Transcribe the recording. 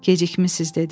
Gecikmisiz dedi.